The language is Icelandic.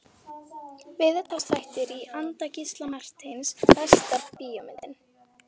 Viðtalsþættir í anda Gísla Marteins Besta bíómyndin?